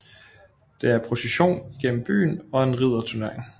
Der er procession igennem byen og en ridderturnering